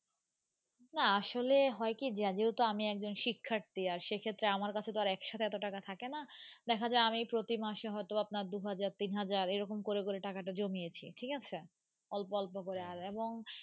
আসলে হয় কি যা যে আমি কজন শিক্ষাথ্রী আর সে ক্ষেত্রে মার্ কাছে এত টাকা থাকে না দেখা যাই আমি প্রতি মাসে হয়তো আপনাকে দু হাজার তিন হজের রি রকম করে করে টাকাটা জমিয়েছি ঠিক আছে অল্প অল্প করে আর এবং।